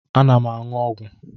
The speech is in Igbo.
Ana m aṅụ ọgwụ.